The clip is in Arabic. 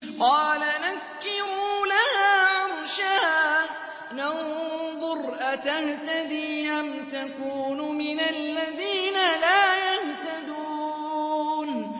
قَالَ نَكِّرُوا لَهَا عَرْشَهَا نَنظُرْ أَتَهْتَدِي أَمْ تَكُونُ مِنَ الَّذِينَ لَا يَهْتَدُونَ